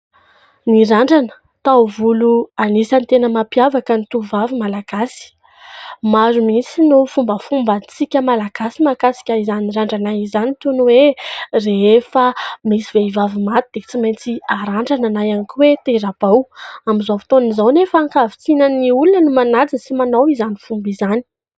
Ny randrana, taovolo anisan'ny tena mampiavaka ny tovovavy Malagasy. Maro mihitsy no fombafombantsika Malagasy mahakasika izany randrana izany, toy ny hoe rehefa misy vehivavy maty dia tsy maintsy arandrana na ihany koa hoe tera-bao. Amin'izao fotoana izao anefa ankavitsinan'ny olona no manaja sy manao izany fomba izany.